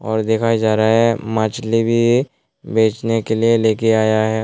और दिखाए जा रहा है मछली भी बचने के लिए लेके आया है।